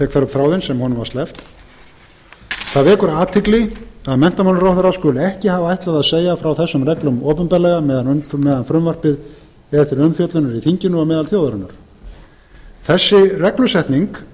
tek þar upp þráðinn sem honum var sleppt það vekur athygli að menntamálaráðherra skuli ekki hafa ætlað að segja frá þessum reglum opinberlega meðan frumvarpið er til umfjöllunar í þinginu og meðal þjóðarinnar þessi reglusetning